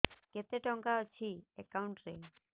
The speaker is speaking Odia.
କେତେ ଟଙ୍କା ଅଛି ଏକାଉଣ୍ଟ୍ ରେ